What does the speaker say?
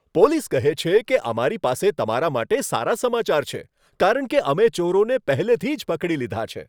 Police કહે છે કે, અમારી પાસે તમારા માટે સારા સમાચાર છે કારણ કે અમે ચોરોને પહેલેથી જ પકડી લીધા છે.